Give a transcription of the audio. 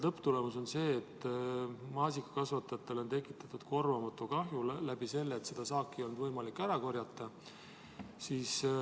Lõpptulemus on see, et maasikakasvatajatele on tekitatud korvamatu kahju, sest saaki ei olnud võimalik koguda.